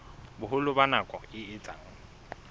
boholo ba nako e etsang